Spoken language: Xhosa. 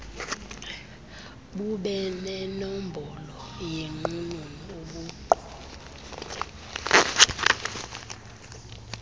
bubenenombolo yenqununu ubuqu